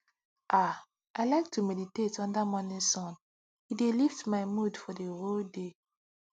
ah i like to meditate under morning sun e dey lift my mood for the whole day